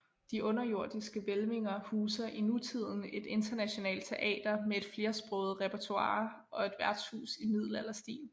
De underjordiske hvælvinger huser i nutiden et internationalt teater med et flersproget repertoire og et værtshus i middelalderstil